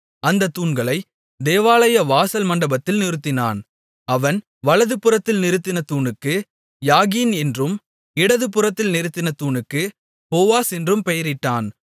அந்தத் தூண்களை தேவாலய வாசல் மண்டபத்தில் நிறுத்தினான் அவன் வலதுபுறத்தில் நிறுத்தின தூணுக்கு யாகீன் என்றும் இடதுபுறத்தில் நிறுத்தின தூணுக்கு போவாஸ் என்றும் பெயரிட்டான்